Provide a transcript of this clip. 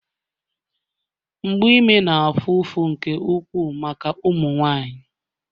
mgbu ime na-afụ ụfụ nke ukwuu maka ụmụ nwanyị